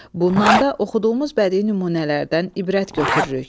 Bundan da oxuduğumuz bədii nümunələrdən ibrət götürürük.